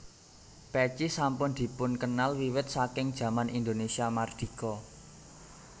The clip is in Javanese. Pèci sampun dipunkenal wiwit saking jaman Indonesia Mardika